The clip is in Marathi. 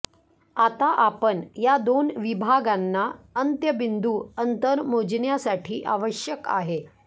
आता आपण या दोन विभागांना अंत्यबिंदू अंतर मोजण्यासाठी आवश्यक आहे